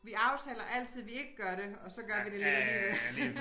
Vi aftaler altid vi ikke gør det og så gør vi det lidt alligevel